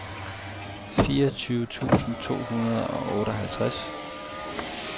fireogtyve tusind to hundrede og otteoghalvtreds